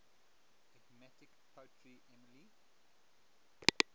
enigmatic poet emily